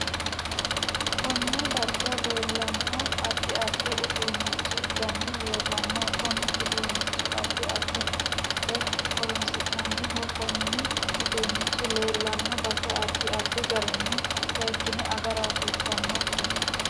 Konne darga leelannonaddi addi uduunichu dani leelanno kuni uduunichi addi addi biinfilira horonisinaniho koni uduunichi leelanno base addi addi garinni seekine agara hasiisanonke